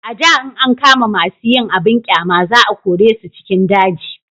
a da in an kama masu yin abun ƙyama za a kore su cikin daji